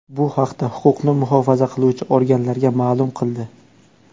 Bu haqda huquqni muhofaza qiluvchi organlarga ma’lum qildi.